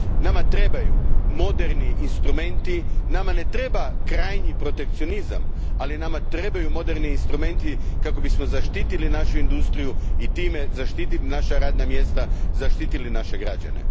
Nama trebaju moderni instrumenti, nama ne treba krajnji protekcionizam, ali nama trebaju moderni instrumenti kako bismo zaštitili našu industriju i time zaštitili naša radna mjesta i naše građane.